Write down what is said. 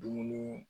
Dumuni